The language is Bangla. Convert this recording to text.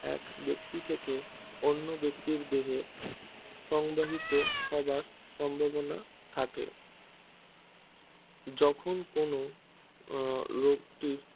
এক ব্যক্তি থেকে অন্য ব্যক্তির দেহে সংবহিত হবার সম্ভাবনা থাকে যখন কোনো লোকটির